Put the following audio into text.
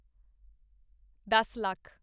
ਦੱਸ ਲੱਖ